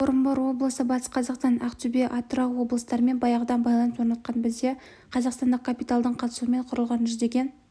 орынбор облысы батыс қазақстан ақтөбе атырау облыстарымен баяғыдан байланыс орнатқан бізде қазақстандық капиталдың қатысуымен құрылған жүздеген